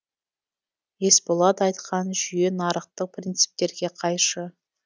есболат айтқан жүйе нарықтық принциптерге қайшы